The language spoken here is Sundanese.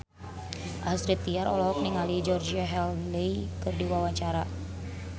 Astrid Tiar olohok ningali Georgie Henley keur diwawancara